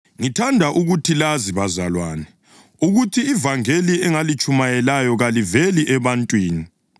Ngithanda ukuthi lazi bazalwane, ukuthi ivangeli engalitshumayelayo kaliveli ebantwini.